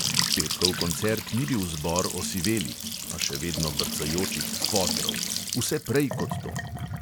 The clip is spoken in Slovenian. Petkov koncert ni bil zbor osivelih (a še vedno brcajočih) fotrov; vse prej kot to!